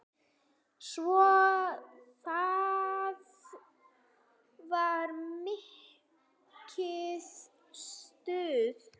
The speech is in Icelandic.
Svo það var mikið stuð.